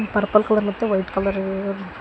Purple colour ಮತ್ತು white colour ಇವೆ.